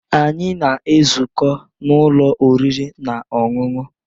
Anyị na-ezukọ n'ụlọ oriri na ọṅụṅụ